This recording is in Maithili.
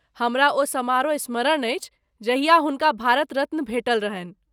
हमरा ओ समारोह स्मरण अछि, जहिया हुनका भारत रत्न भेटल रहन्हि।